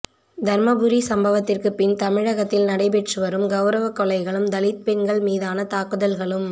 தர்மபுரி சம்பவத்திற்குப் பின் தமிழகத்தில் நடைபெற்று வரும் கௌரவக் கொலைகளும் தலித் பெண்கள் மீதான தாக்குதல்களும்